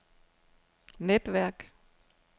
netværk